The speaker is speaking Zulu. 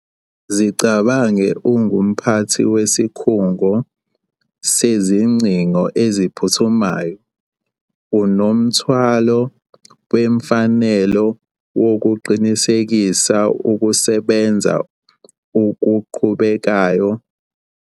Zicabange ungumphathi wesikhungo sezingcingo eziphuthumayo, unomthwalo wemfanelo wokuqinisekisa ukusebenza okuqhubekayo.